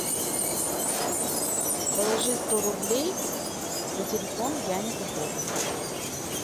положи сто рублей на телефон яне поповой